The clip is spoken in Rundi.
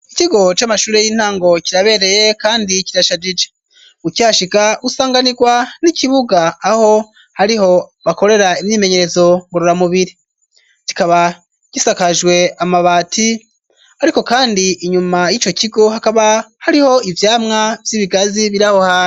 Ikigo c'amashure y'intango kirabereye kandi kirashajije, ukihashika usanganirwa n'ikibuga aho hariho bakorera imyimenyezo murura mubiri kikaba gisakajwe amabati ariko kandi inyuma y'ico kigo hakaba hariho ivyamwa vy'ibigazi birahoha.